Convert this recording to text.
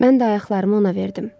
Mən də ayaqlarımı ona verdim.